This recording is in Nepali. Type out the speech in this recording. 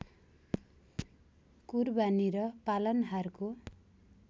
कुरबानी र पालनहारको